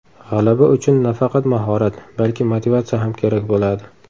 G‘alaba uchun nafaqat mahorat, balki motivatsiya ham kerak bo‘ladi.